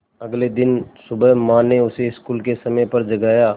अगले दिन सुबह माँ ने उसे स्कूल के समय पर जगाया